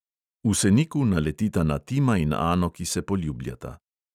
V seniku naletita na tima in ano, ki se poljubljata.